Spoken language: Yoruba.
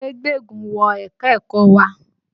Kúnlè gbéégún wọ ẹ̀ka-ẹ̀kọ wa